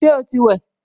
Ṣé o ti wẹ̀?